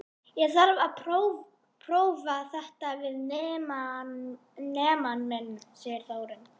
Ég þarf að prófa þetta við nemann minn, segir Þórunn.